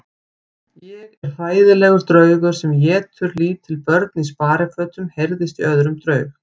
Ég er hræðilegur draugur sem étur lítil börn í sparifötum heyrðist í öðrum draug.